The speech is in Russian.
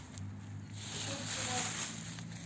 гуджрат